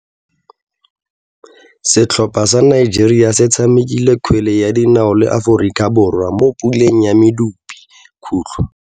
Setlhopha sa Nigeria se tshamekile kgwele ya dinao le Aforika Borwa mo puleng ya medupe.